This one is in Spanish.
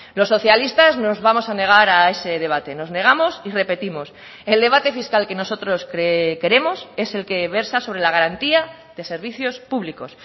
los socialistas nos vamos a negar a ese debate nos negamos y repetimos el debate fiscal que nosotros queremos es el que versa sobre la garantía de servicios públicos